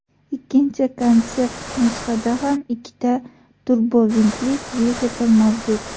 Ikkinchi konsept nusxada ham ikkita turbovintli dvigatel mavjud.